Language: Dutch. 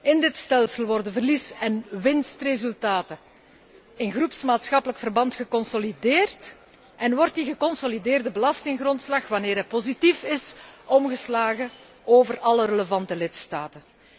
In dit stelsel worden verlies en winstresultaten in groepsmaatschappelijk verband geconsolideerd en wordt die geconsolideerde belastinggrondslag, wanneer hij positief is, omgeslagen over alle relevante lidstaten.